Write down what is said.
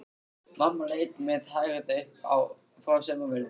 Mamma leit með hægð upp frá saumavélinni.